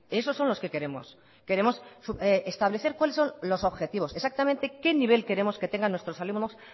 esos son los que queremos queremos establecer cuales son los objetivos exactamente qué nivel queremos que tengan nuestros alumnos